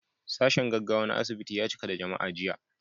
Sashen gaggawa na asibiti ya cika da jama'a jiya.